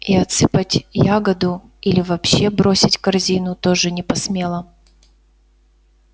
и отсыпать ягоду или вообще бросить корзину тоже не посмела